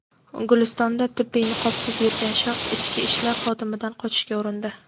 Gulistonda tibbiy niqobsiz yurgan shaxs ichki ishlar xodimidan qochishga urindi.